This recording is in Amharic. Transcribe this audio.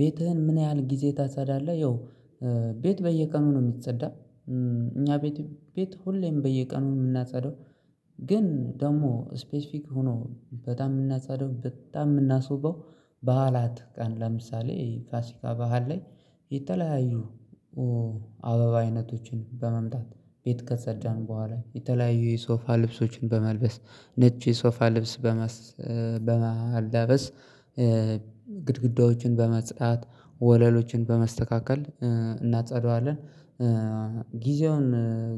ቤትህን ምን ያህል ጊዜ ታጸዳለህ? ያው ቤት በየቀኑ ነው የሚጸዳ እኛ ቤት ቤት ሁሌም በየቀኑ የምናጸደው። ግን ደግሞ ስፔሲፊክ ሆኖ በጣም የምናጸዳው በጣም የምናስውበው በዓላት ቀን ለምሳሌ ፋሲካ በዓል ላይ የተለያዩ አበባ አይነቶችን በመምጣት ቤት ከፀዳን በኋላ የተለያዩ የሶፋ ልብሶችን በመልበስ ነጭ የሶፋ ልብስ በማላበስ ግድግዳዎችን በማጽዳት ወለሎችን በማስተካከል እናጸዳዋለን። ጊዜውን